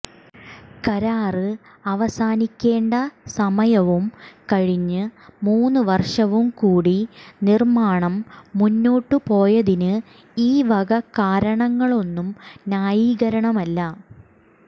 കരാര് അവസാനിക്കേണ്ട സമയവും കഴിഞ്ഞ് മൂന്നുവര്ഷവും കൂടി നിര്മ്മാണം മുന്നോട്ട് പോയതിന് ഈവക കാരണങ്ങളൊന്നും ന്യായീകരണമല്ല